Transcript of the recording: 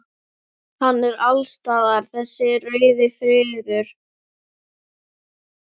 Hann er alls staðar þessi rauði friður.